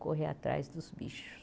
correr atrás dos bichos.